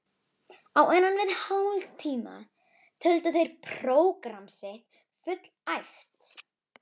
Á innan við hálftíma töldu þeir prógramm sitt fullæft.